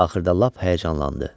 Axırda lap həyəcanlandı.